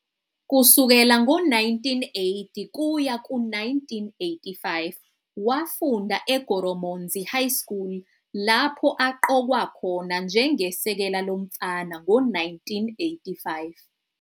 Kusukela ngo-1980 kuya ku-1985 wafunda eGoromonzi High School, lapho aqokwa khona njengesekela lomfana ngo-1985.